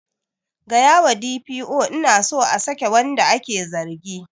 Tell the D. P. O I want to the accused to be released